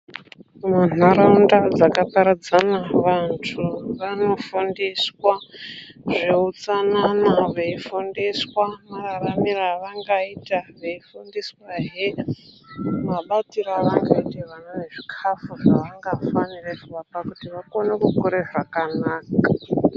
Munharaunda dzakaparadzana vantu vanofundiswa zveutsanana , veifundiswa mararamire avangaita , veifundiswahe mabatire avangaite vana nezvikafu zvavangafanire kuvapa kuti vakone kukure zvakanaka.